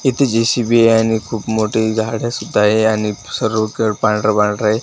तिथे जे_सी_बी य आणि खूप मोठी झाडं सुद्धा आहे आणि सर्वकड पांढरं पांढर आहे.